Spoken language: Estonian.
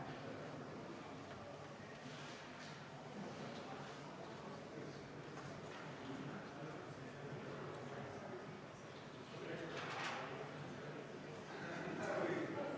Palun võtta seisukoht ja hääletada!